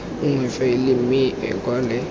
nngwe faele mme o kwale